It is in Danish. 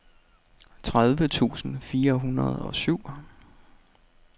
tredive tusind fire hundrede og syv